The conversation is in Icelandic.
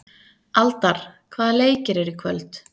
Aldar, hvaða leikir eru í kvöld?